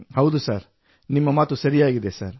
ಹೌದು ಸಾರ್ ನಿಮ್ಮ ಮಾತು ಸರಿಯಾಗಿದೆ ಸರ್